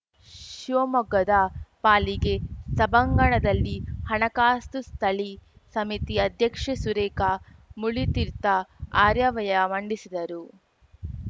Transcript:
ಶಿವಮೊಗ್ಗದ ಪಾಲಿಗೆ ಸಭಾಂಗಣದಲ್ಲಿ ಹಣಕಾಸು ಸ್ಥಳಿ ಸಮಿತಿ ಅಧ್ಯಕ್ಷೆ ಸುರೇಖ ಮುರಳೀತೀರ್ಥ ಆರ್ಯವ್ಯಯ ಮಂಡಿಸಿದರು